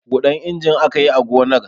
Huɗan injin aka yi a gonar.